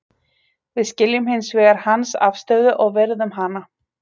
Við skiljum hins vegar hans afstöðu og virðum hana.